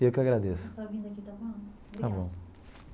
Eu que agradeço. Está bom.